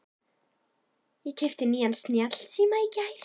Ég keypti nýjan snjallsíma í gær.